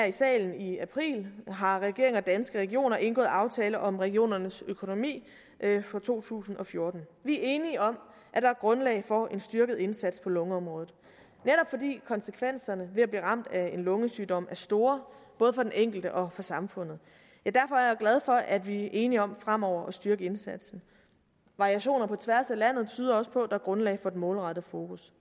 i salen i april har regeringen og danske regioner indgået aftale om regionernes økonomi for to tusind og fjorten vi er enige om at der er grundlag for en styrket indsats på lungeområdet netop fordi konsekvenserne ved at blive ramt af en lungesygdom er store både for den enkelte og for samfundet derfor er glad for at vi er enige om fremover at styrke indsatsen variationer på tværs af landet tyder også på at der er grundlag for et målrettet fokus